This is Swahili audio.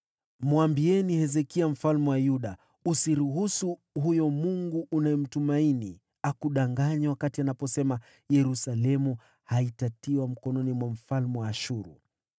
“Mwambieni Hezekia mfalme wa Yuda: Usikubali huyo Mungu unayemtumainia akudanganye wakati anaposema, ‘Yerusalemu haitatiwa mkononi mwa mfalme wa Ashuru.’